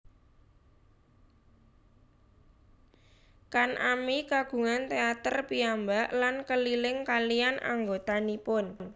Kan ami kagungan teater piyambak lan keliling kaliyan anggotanipun